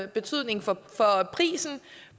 betydning for prisen